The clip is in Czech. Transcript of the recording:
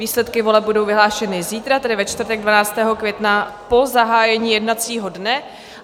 Výsledky voleb budou vyhlášeny zítra, tedy ve čtvrtek 12. května, po zahájení jednacího dne.